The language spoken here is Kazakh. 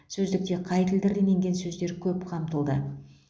сөздікте қай тілдерден енген сөздер көп қамтылды